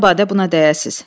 Məbədə buna dəyəsiz.